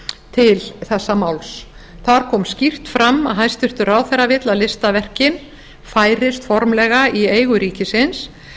til þessa máls þar kom skýrt fram að hæstvirtur ráðherra vill að listaverkin færist formlega í eigu ríkisins